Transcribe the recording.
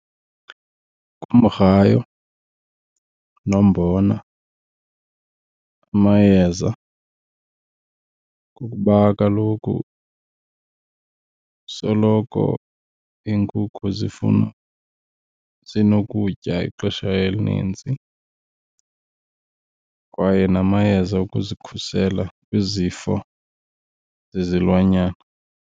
Ngumgrayo nombona, amayeza kukuba kaloku soloko iinkukhu zifuna zinokutya ixesha elinintsi kwaye namayeza okuzikhusela kwizifo zezilwanyana.